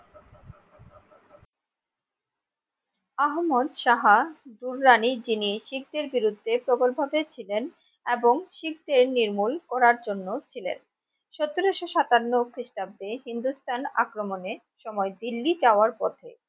আহমল সাহা দুরানির যিনি শিখদের বিরুদ্ধে প্রবল ভাবে ছিলেন এবং শিখদের নির্মূল করার জন্য ছিলেন, সতেরোশো সাতান্ন খ্রিস্টাব্দে হিন্দুসস্থান আক্রমনে সময় দিল্লি যাওয়ার পথে